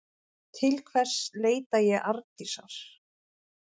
Til hvers leita ég Arndísar?